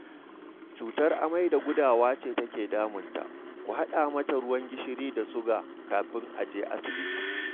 Cutar amai da gudawa ce take damunta, ku haɗa mata ruwan gishiri da suga kafin a je asibiti